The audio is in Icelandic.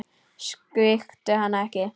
Svíktu hana ekki.